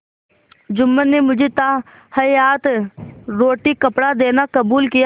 जुम्मन ने मुझे ताहयात रोटीकपड़ा देना कबूल किया